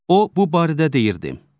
O bu barədə deyirdi: